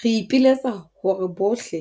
Re ipiletsa hore bohle